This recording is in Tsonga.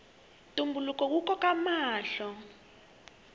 ntumbuluko wu koka mahlo